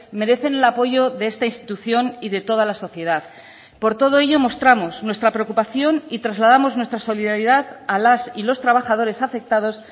merecen el apoyo de esta institución y de toda la sociedad por todo ello mostramos nuestra preocupación y trasladamos nuestra solidaridad a las y los trabajadores afectados